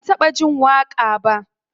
Ban taɓa jin waƙa ba.